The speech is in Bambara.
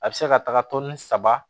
A bɛ se ka taga tɔni saba